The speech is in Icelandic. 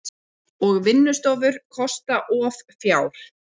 Og vinnustofur kosta of fjár.